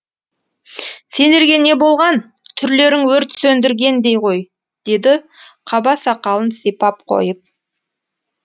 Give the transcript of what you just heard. сендерге не болған түрлерің өрт сөндіргендей ғой деді қаба сақалын сипап қойып